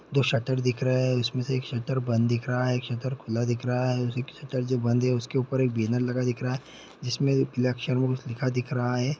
दो शटर दिख रहा है उसमें से एक शटर बंद दिख रहा है एक शटर खुला दिख रहा है उसी में एक शटर जो बंद है उस के ऊपर एक बैनर लगा दिख रहा है जिसमें लिखा दिख रहा है।